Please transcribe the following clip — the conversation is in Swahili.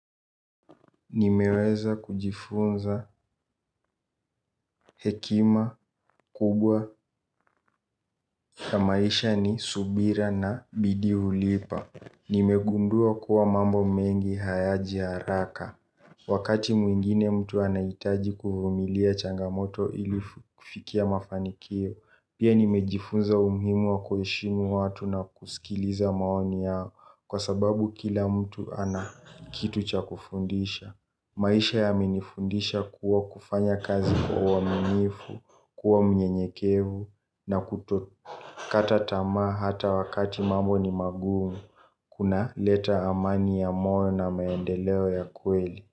Nimeweza kujifunza hekima kubwa ya maisha ni subira na bidii hulipa. Nimegundua kuwa mambo mengi hayaji haraka. Wakati mwingine mtu anaitaji kuvumilia changamoto ili kufikia mafanikio. Pia nimejifunza umuhimu wa kushimu watu na kusikiliza maoni yao. Kwa sababu kila mtu anakitu cha kufundisha. Maisha yamenifundisha kuwa kufanya kazi kwa uwaminifu, kuwa mnyenyekevu na kuto. Katatamaa hata wakati mambo ni magumu. Kunaleta amani ya moyo na maendeleo ya kweli.